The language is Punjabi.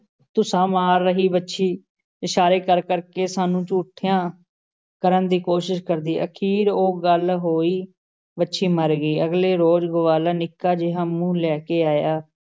ਧੁੱਸਾ ਮਾਰ ਰਹੀ ਵੱਛੀ ਵੱਲ ਇਸ਼ਾਰੇ ਕਰ-ਕਰ ਕੇ ਸਾਨੂੰ ਝੂਠਿਆਂ ਕਰਨ ਦੀ ਕੋਸ਼ਿਸ਼ ਕਰਦੀ। ਅਖ਼ੀਰ ਉਹੀ ਗੱਲ ਹੋਈ । ਵੱਛੀ ਮਰ ਗਈ । ਅਗਲੇ ਰੋਜ਼ ਗਵਾਲਾ ਨਿੱਕਾ ਜਿਹਾ ਮੂੰਹ ਲੈ ਕੇ ਆਇਆ ।